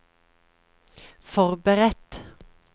forberedt